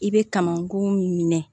I bɛ kamankun minɛ